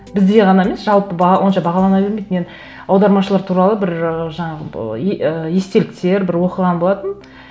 бізде ғана емес жалпы онша бағалана бермейді мен аудармашылар туралы бір ыыы жаңағы і естеліктер бір оқыған болатынмын